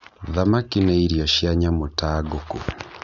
Thamaki nĩ irio cia nyamũ ta ngũkũ.